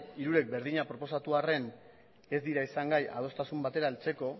hirurek berdina proposatu arren ez dira izan gai adostasun batera heltzeko